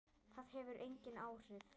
Það hefur engin áhrif.